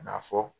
Ka na fɔ